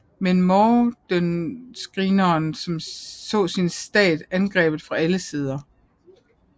Men montenegrinerne så sin stat angrebet fra allesider